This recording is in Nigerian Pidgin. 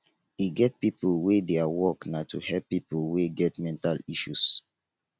e get pipo wey their work na to help pipo wey get mental health issues